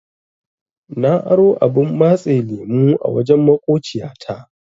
Na aro abun matsa lemu a wajen maƙociya ta.